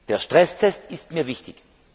Der Stresstest ist mir wichtig.